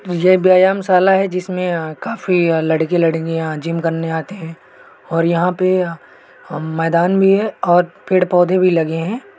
ये व्यायामशाला है जिसमें काफी लड़के लड़कियां जिम करने आते हैं और यहाँ पे मैदान भी है और पेड़ पौधे भी लगे हैं।